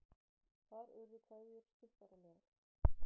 Þar urðu kveðjur stuttaralegar.